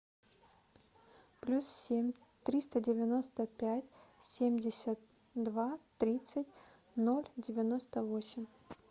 плюс семь триста девяносто пять семьдесят два тридцать ноль девяносто восемь